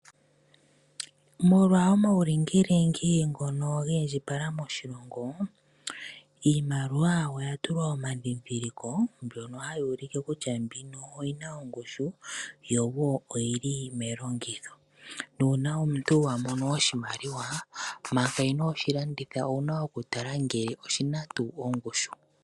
Molwa omaulingilingi ngono gi indjipala moshilongo, iimaliwa oya tulwa omadhindhiliko ngono haga ulike kutya mbino oyi na ongushu yo wo oyi li longitho. Nuuna omuntu wa mono oshimaliwa manga inoo shi landitha owu na okutala ngele oshi na tuu ongushu.